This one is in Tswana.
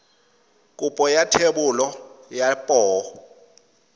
kopo ya thebolo ya poo